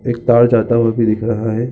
एक तार जाता हुआ भी दिख रहा हैं।